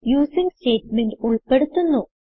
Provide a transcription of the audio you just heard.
using statement ഉൾപ്പെടുത്തുന്നു